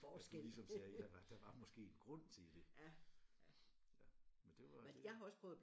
At du ligesom sagde ja var der var måske en grund til det men det var det